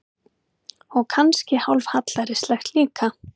Og kannski hálf hallærislegt líka.